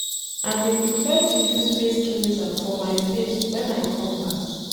I dey prefer to use face cleanser for my face wen I come back.